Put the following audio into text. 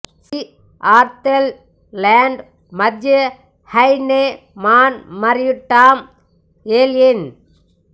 C ఆర్టల్ land Matthew Heineman మరియు Tom Yellin